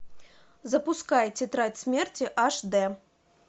запускай тетрадь смерти аш дэ